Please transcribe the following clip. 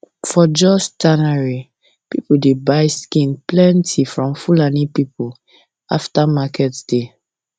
for jos tannery people dey buy skin plenty from fulani people after market day